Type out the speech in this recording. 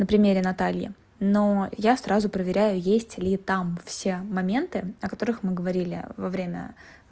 на примере натальи но я сразу проверяю есть ли там все моменты о которых мы говорили во время